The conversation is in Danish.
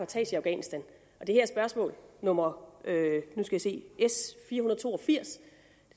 tages i afghanistan og det her spørgsmål nummer s fire hundrede og to og firs